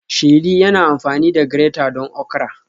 Sheri yana amfani da grater don okra